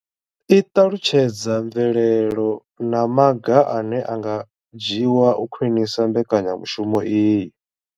I ṱalutshedza mvelelo na maga ane a nga dzhiwa u khwinisa mbekanyamushumo iyi.